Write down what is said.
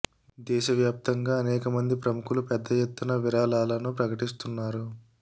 దేశ వ్యాప్తంగా అనేక మంది ప్రముఖులు పెద్ద ఎత్తున విరాళాలను ప్రకటిస్తున్నారు